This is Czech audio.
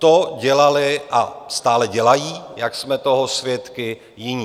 To dělali a stále dělají, jak jsme toho svědky, jiní.